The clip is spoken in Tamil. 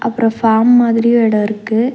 அப்றொ ஃபார்ம் மாதிரியு எடோ இருக்கு.